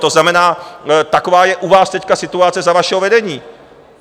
To znamená, taková je u vás teď situace za vašeho vedení.